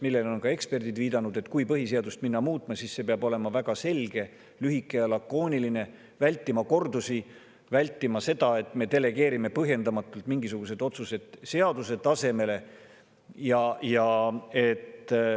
Sellele on ka eksperdid viidanud, et kui põhiseadust muutma minna, siis see peab olema väga selge, lühike ja lakooniline, vältima kordusi, vältima seda, et me delegeerime põhjendamatult mingisugused otsused seaduse tasemele.